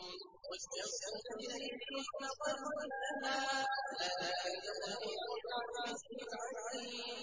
وَالشَّمْسُ تَجْرِي لِمُسْتَقَرٍّ لَّهَا ۚ ذَٰلِكَ تَقْدِيرُ الْعَزِيزِ الْعَلِيمِ